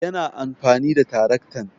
Yana amfani da taraktan